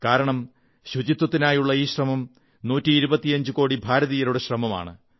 കാരണം ശുചിത്വത്തിനായുള്ള ഈ ശ്രമം 125 കോടി ഭാരതീയരുടെ ശ്രമമാണ്